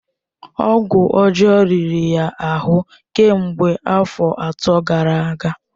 Ọgwụ ọjọọ riri ya ahụ kemgbe afọ atọ gara aga.